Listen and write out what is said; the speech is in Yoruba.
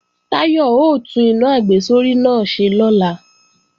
Táyọ̀ ó tún iná àgbésórí náà ṣe lọ́la